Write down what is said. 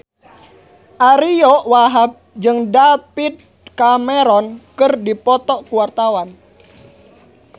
Ariyo Wahab jeung David Cameron keur dipoto ku wartawan